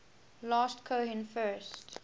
last cohen first